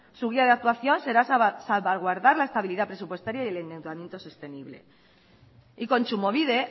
su guía de actuación será salvaguardar la estabilidad presupuestaria y el endeudamiento sostenible y kontsumobide